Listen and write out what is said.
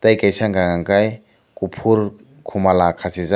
tei kaisa hingka kei kopor komola kasijak.